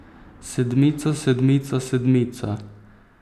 Sedmica, sedmica, sedmica!